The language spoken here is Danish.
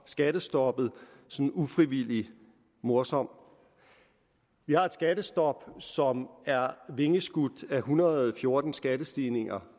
skattestoppet ufrivilligt morsom vi har et skattestop som er vingeskudt af en hundrede og fjorten skattestigninger